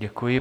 Děkuji.